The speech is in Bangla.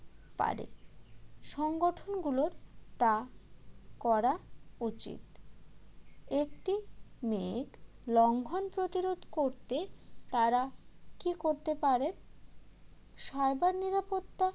পারে সংগঠনগুলোর তা করা উচিত একটি মেয়ে লঙ্ঘন প্রতিরোধ করতে তারা কী করতে পারে cyber নিরাপত্তা